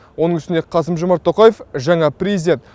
оның үстіне қасым жомарт тоқаев жаңа президент